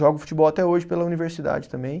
Jogo futebol até hoje pela universidade também.